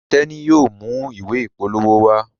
Teni yóò mú ìwé ìpolówó wá.